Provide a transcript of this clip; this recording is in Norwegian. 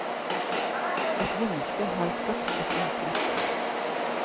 Et menneske har skapt et uttrykk.